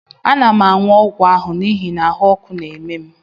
Ana m aṅụ ọgwụ ahụ n'ihi na ahụ́ ọkụ na-eme m